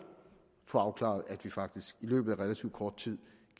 få afklaret at vi faktisk i løbet af relativt kort tid